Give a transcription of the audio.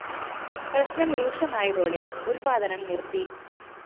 പ്രശ്‌നം രൂക്ഷമായതോടെ ഉല്‍പാദനം നിര്‍ത്തി